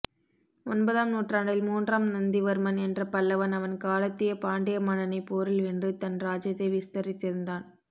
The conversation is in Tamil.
ஒன்பதாம் நூற்றாண்டில் மூன்றாம் நந்திவர்மன் என்ற பல்லவன் அவன் காலத்திய பாண்டிய மன்னனை போரில் வென்று தன் ராஜ்யத்தை விஸ்தரித்திருந்தான்